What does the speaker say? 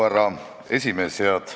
Härra esimees!